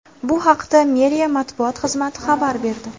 Bu haqda meriya matbuot xizmati xabar berdi .